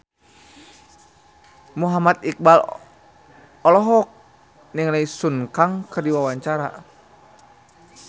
Muhammad Iqbal olohok ningali Sun Kang keur diwawancara